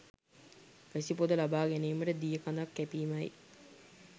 වැසි පොද ලබා ගැනීමට දිය කඳක් කැපීමයි.